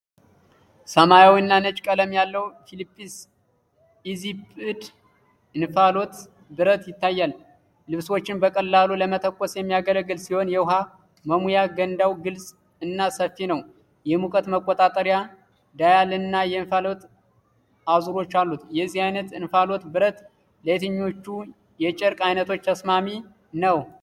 ሰማያዊና ነጭ ቀለም ያለው ፊሊፕስ ኢዚስፒድ የእንፋሎት ብረት ይታያል። ልብሶችን በቀላሉ ለመተኮስ የሚያገለግል ሲሆን፣ የውሃ መሙያ ገንዳው ግልፅ እና ሰፊ ነው። የሙቀት መቆጣጠሪያ ዳያል እና የእንፋሎት አዝራሮች አሉት። የዚህ አይነት የእንፋሎት ብረት ለየትኞቹ የጨርቅ አይነቶች ተስማሚ ነው?